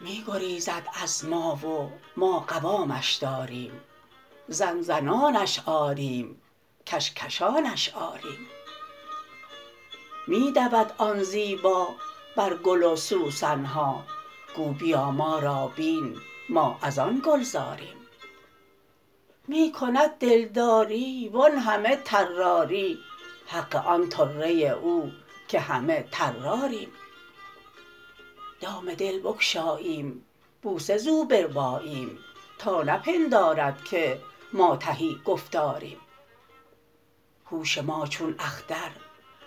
می گریزد از ما و ما قوامش داریم زن زنانش آریم کش کشانش آریم می دود آن زیبا بر گل و سوسن ها گو بیا ما را بین ما از آن گلزاریم می کند دلداری وان همه طراری حق آن طره او که همه طراریم دام دل بگشاییم بوسه زو برباییم تا نپندارد که ما تهی گفتاریم هوش ما چون اختر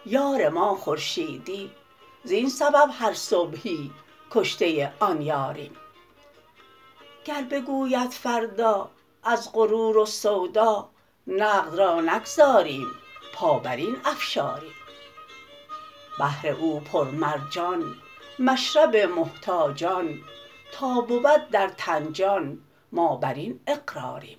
یار ما خورشیدی زین سبب هر صبحی کشته آن یاریم گر بگوید فردا از غرور و سودا نقد را نگذاریم پا بر این افشاریم بحر او پرمرجان مشرب محتاجان تا بود در تن جان ما بر این اقراریم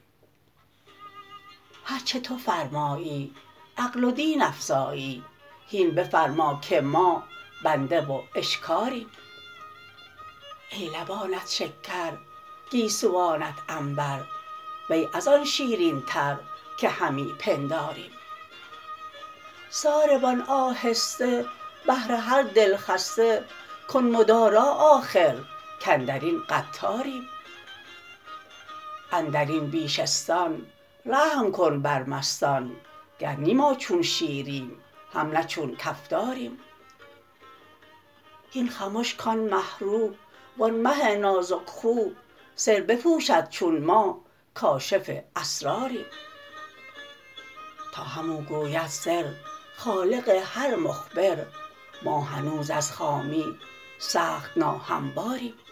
هر چه تو فرمایی عقل و دین افزایی هین بفرما که ما بنده و اشکاریم ای لبانت شکر گیسوانت عنبر وی از آن شیرینتر که همی پنداریم ساربان آهسته بهر هر دلخسته کن مدارا آخر کاندر این قطاریم اندر این بیشه ستان رحم کن بر مستان گر نی ما چون شیریم هم نی چون کفتاریم هین خمش کان مه رو وان مه نازک خو سر بپوشد چون ما کاشف اسراریم با همو گوید سر خالق هر مخبر ما هنوز از خامی سخت ناهمواریم